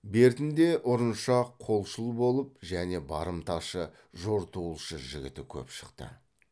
бертінде ұрыншақ қолшыл болып және барымташы жортуылшы жігіті көп шықты